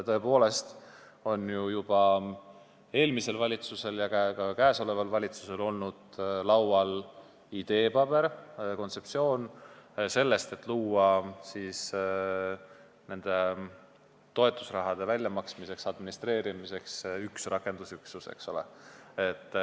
Tõepoolest on juba eelmisel valitsusel ja ka praegusel valitsusel olnud laual ideepaber, kontseptsioon sellest, et luua nende toetusrahade väljamaksmiseks ja administreerimiseks üks rakendusüksus.